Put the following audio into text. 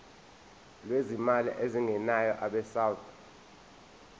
lwezimali ezingenayo abesouth